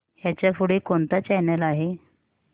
ह्याच्या पुढे कोणता चॅनल आहे